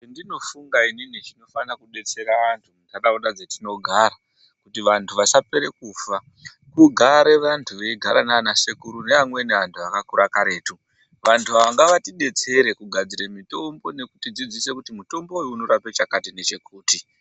Chendinofunga inin chingada kudetsera antu muntaraunda dzetinogara kuti vantu vasapere kufa kugata anti eigara nana sekuru nevamweni vantu vakakura karetu. Vantu ava ngavatidetsere kugadzira mitombo nekutidzidzisa kuti mutombo uyu unorape chakati nechakati.